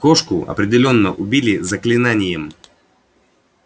кошку определённо убили заклинанием